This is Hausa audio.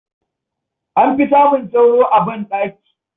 An fi samun sauro a banɗaki.